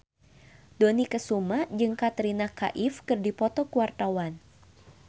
Dony Kesuma jeung Katrina Kaif keur dipoto ku wartawan